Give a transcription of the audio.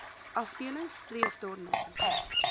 afdeling streef daarna